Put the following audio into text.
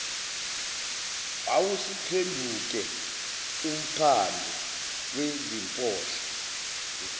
wawusuphenduke umphandu wezimpohlo